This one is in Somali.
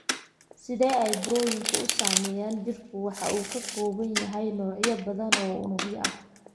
Sida ay Burooyinku u Sameeyaan Jidhku waxa uu ka kooban yahay noocyo badan oo unugyo ah.